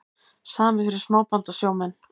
Samið fyrir smábátasjómenn